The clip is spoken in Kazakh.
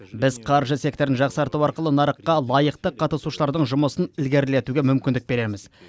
біз қаржы секторын жақсарту арқылы нарыққа лайықты қатысушылардың жұмысын ілгерілетуге мүмкіндік береміз